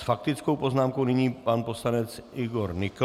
S faktickou poznámkou nyní pan poslanec Igor Nykl.